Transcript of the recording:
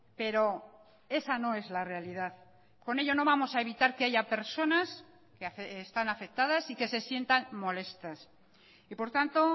pero esa no es la realidad con ello no vamos a evitar que haya personas que están afectadas y que se sientan molestas y por tanto